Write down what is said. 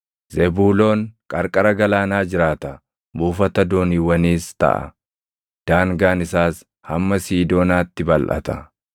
“Zebuuloon qarqara galaanaa jiraata; buufata dooniiwwaniis taʼa; daangaan isaas hamma Siidoonaatti balʼata.